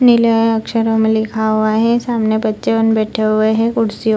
नीले अक्षरों में लिखा हुआ है सामने बच्चे उन बैठे हुए है कुर्सियों --